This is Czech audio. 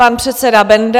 Pan předseda Benda.